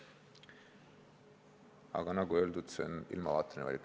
Aga nagu öeldud, on see ilmavaateline valik.